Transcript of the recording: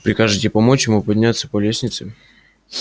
прикажете помочь ему подняться по лестнице